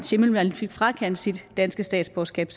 schimmelmann fik frakendt sit danske statsborgerskab